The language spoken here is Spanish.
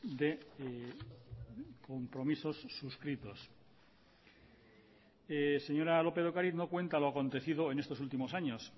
de compromisos suscritos señora lópez de ocariz no cuenta lo acontecido en estos últimos años